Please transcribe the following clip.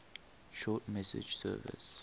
short message service